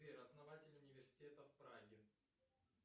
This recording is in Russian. сбер основатель университета в праге